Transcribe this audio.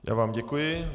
Já vám děkuji.